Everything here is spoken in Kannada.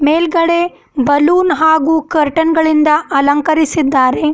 ಮೇಲ್ಗಡೆ ಬಲೂನ್ ಹಾಗು ಕರ್ಟನ್ ಗಳಿಂದ ಅಲಂಕರಿಸಿದ್ದಾರೆ.